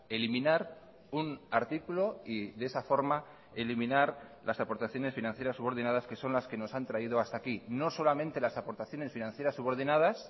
eliminar un artículo y de esa forma eliminar las aportaciones financieras subordinadas que son las que nos han traído hasta aquí no solamente las aportaciones financieras subordinadas